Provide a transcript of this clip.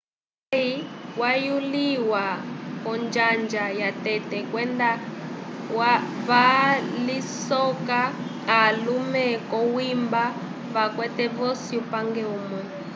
murray wayuliwa k'onjanja yatete kwenda valisoka alume k'okwimba vakwete vosi upange umwe